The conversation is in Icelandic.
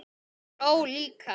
Hló líka.